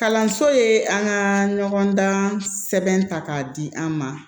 Kalanso ye an ka ɲɔgɔndan sɛbɛn ta k'a di an ma